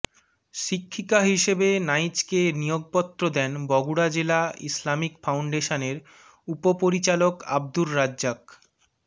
শিক্ষিকা হিসেবে নাইচকে নিয়োগপত্র দেন বগুড়া জেলা ইসলামিক ফাউন্ডেশনের উপপরিচালক আবদুর রাজ্জাক